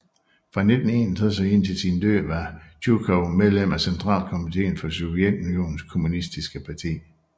Fra 1961 og indtil sin død var Tjujkov medlem af Centralkomiteen for Sovjetunionens kommunistiske parti